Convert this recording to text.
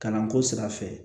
Kalanko sira fɛ